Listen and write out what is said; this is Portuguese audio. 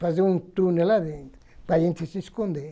Fazer um túnel lá dentro, para a gente se esconder.